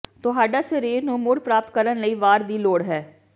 ਤੁਹਾਡਾ ਸਰੀਰ ਨੂੰ ਮੁੜ ਪ੍ਰਾਪਤ ਕਰਨ ਲਈ ਵਾਰ ਦੀ ਲੋੜ ਹੈ